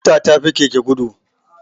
Mota ta fi keke gudu